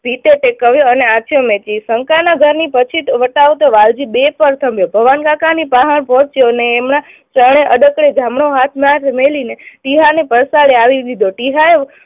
ને કહ્યો અને શંકાના ઘરની પછેટ વટાવતો વાલજી બે ભવનકાકાની પાસે પહોચ્યો અને એમાં એમને જમણો હાથ મેલીને ટીહાને પડ્સારે આલી દીધો. ટીહાએ